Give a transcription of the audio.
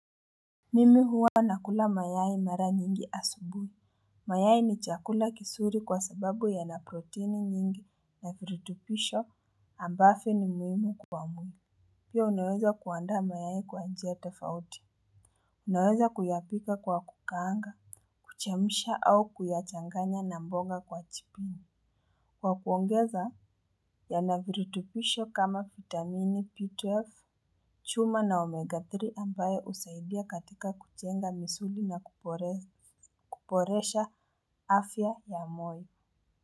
Mimi huwa nakula mayai mara nyingi asubuhi. Mayai ni chakula kizuri kwa sababu yanaproteini nyingi na virutubisho ambavyo ni muhimu kwa mwili. Pia unaweza kuanda mayai kwa njia tofauti. Unaweza kuyapika kwa kukaranga kuchemsha au kuyachanganya na mboga kwa jiko. Kwa kuongeza yana virutubisho kama vitamini b12. Chuma na omega-3 ambayo husaidia katika kujenga misuli na kuboresha afya ya moyo.